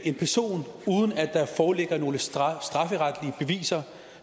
en person uden at der foreligger nogen strafferetlige beviser